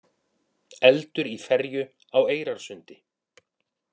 Eldur í ferju á Eyrarsundi